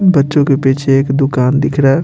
बच्चों के पीछे एक दुकान दिख रहा है।